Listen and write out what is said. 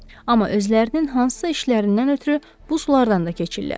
Amma özlərinin hansısa işlərindən ötrü bu sulardan da keçirlər.